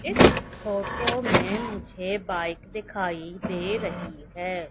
इस फोटो में मुझे बाइक दिखाई दे रही है।